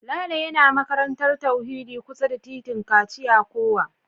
Lalo yana makarantar tauhidi kusa da titin kachia yakowa